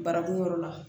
Barakun yɔrɔ la